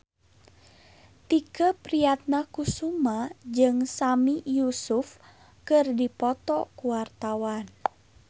Tike Priatnakusuma jeung Sami Yusuf keur dipoto ku wartawan